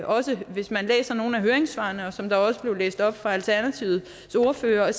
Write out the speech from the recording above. også hvis man læser nogle af høringssvarene som også blev læst op af alternativets ordfører at